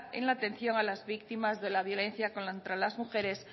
en la atención a las víctimas de la violencia contra las mujeres